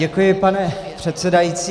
Děkuji, pane předsedající.